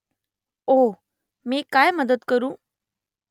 ओह . मी काय मदत करू ?